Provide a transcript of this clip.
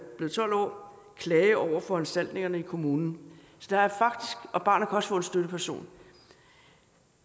blevet tolv år klage over foranstaltningerne i kommunen og barnet kan også få en støtteperson